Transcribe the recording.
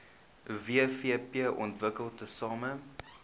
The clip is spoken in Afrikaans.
wvp ontwikkel tesame